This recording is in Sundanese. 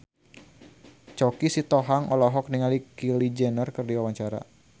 Choky Sitohang olohok ningali Kylie Jenner keur diwawancara